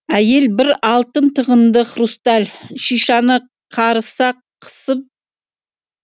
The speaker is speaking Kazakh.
әйел бір алтын тығынды хрусталь шишаны қарыса қысып жатыр екен